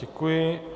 Děkuji.